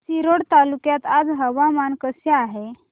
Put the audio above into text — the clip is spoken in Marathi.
रिसोड तालुक्यात आज हवामान कसे आहे